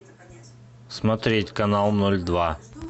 смотреть канал ноль два